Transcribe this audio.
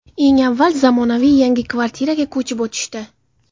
Eng avval, zamonaviy, yangi kvartiraga ko‘chib o‘tishdi.